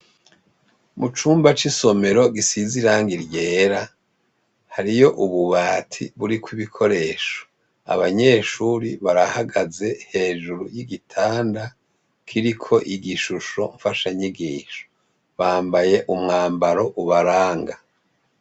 Mu cumba c'isomero gisiziranga ryera hariyo ububati buri kw'ibikoresho abanyeshuri barahagaze hejuru y'igitanda kiriko igishusho mfasha nyigisho bambaye umwambaro ubaranga.